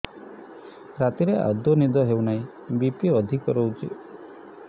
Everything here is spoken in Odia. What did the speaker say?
ରାତିରେ ଆଦୌ ନିଦ ହେଉ ନାହିଁ ବି.ପି ଅଧିକ ରହୁଛି